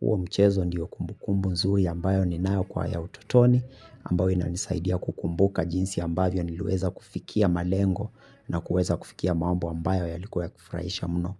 Huo mchezo ndiyo kumbukumbu nzuri ambayo ni nayo kwa ya utotoni ambayo ina nisaidia kukumbuka jinsi ambayo niliweza kufikia malengo na kueza kufikia mambo ambayo yalikuwa kufraisha mno.